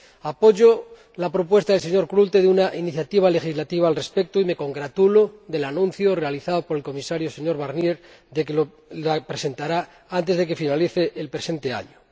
Apoyo la propuesta del señor Klute de una iniciativa legislativa al respecto y me congratulo del anuncio realizado por el Comisario, señor Barnier, de que la presentará antes de que finalice el presente año.